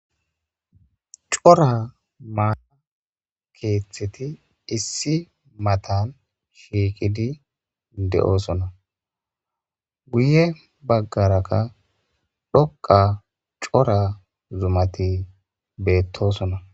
cora maata keeththeti issi matan shiiqidi de7oosona guye baggarakka dhoqa cora zumati beettosona